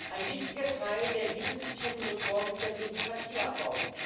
Ein wichtiger Teil der hier diskutierten Reform ist der Bürokratieabbau.